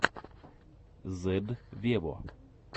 зедд вево